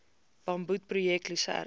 bamboed projek lusern